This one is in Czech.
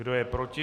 Kdo je proti?